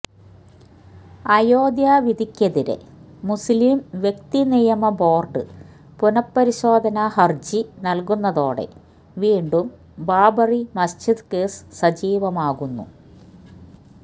അയോധ്യ വിധിക്കെതിരെ മുസ്ലിം വ്യക്തി നിയമ ബോര്ഡ് പുനഃപരിശോധനാ ഹര്ജി നല്കുന്നതോടെ വീണ്ടും ബാബ് റി മസ്ജിദ് കേസ് സജീവമാകുന്നു